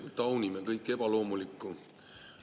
Me taunime kõike ebaloomulikku.